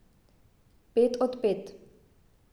Pet od pet.